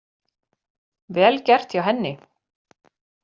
Vel gert hjá henni